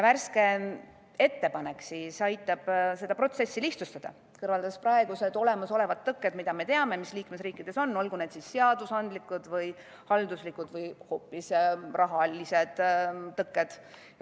Värske ettepanek aitab seda protsessi lihtsustada, kõrvaldades praegused tõkked, mis liikmesriikides on, olgu need seadusandlikud või halduslikud või hoopis rahalised tõkked.